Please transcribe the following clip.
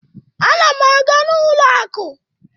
Ana m aga n'ụlọ akụ.